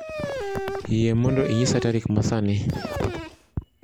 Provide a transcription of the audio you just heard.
Yie mondo inyisa tarik ma sani